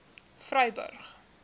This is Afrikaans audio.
vryburg